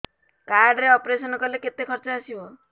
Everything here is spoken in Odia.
କାର୍ଡ ରେ ଅପେରସନ କଲେ କେତେ ଖର୍ଚ ଆସିବ